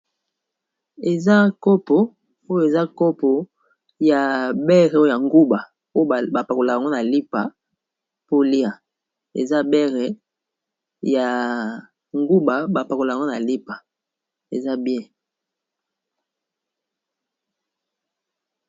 Eza kopo oyo eza kopo ya bereoo ya nguba oyo bapakolakango na lipa polia eza bere ya nguba ba pakolakango na lipa eza bien.